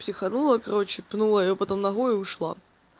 психанула короче пнула её потом ногой и ушла